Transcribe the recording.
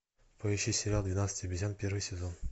поищи сериал двенадцать обезьян первый сезон